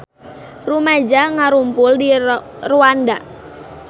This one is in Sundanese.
Rumaja ngarumpul di Rwanda